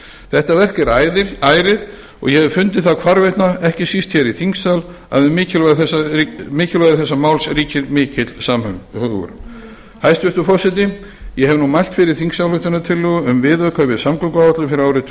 þetta verk er ærið og ég hef fundið það hvarvetna ekki síst hér í þingsal að um mikilvægi þessa máls ríkir mikill samhugur hæstvirtur forseti ég hef nú mælt fyrir þingsályktunartillögu um viðauka við